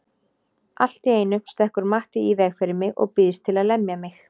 Allt í einu stekkur Matti í veg fyrir mig og býðst til að lemja mig.